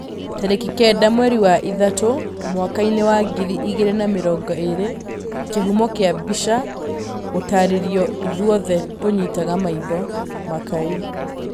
Tarĩki kenda mwerũ wa ĩtatũ mwakainĩ wa ngiri igĩrĩ na mĩrongo ĩrĩ kĩhumo kĩa mbica, gũtarĩrio, ithuothe tũnyitaga maitho, makai